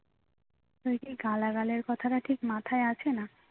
তুই কি গালাগালের কথাটা ঠিক মাথায় আসে না